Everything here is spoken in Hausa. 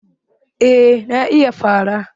Eh na iya fara